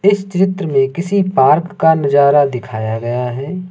इस चित्र में किसी पार्क का नजारा दिखाया गया है।